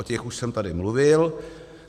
O těch už jsem tady mluvil.